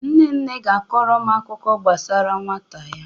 Nne nne ga-akọrọ m akụkọ gbasara nwata ya.